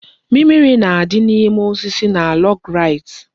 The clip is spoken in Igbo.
Mimiri na-adị n'ime osisi na log rides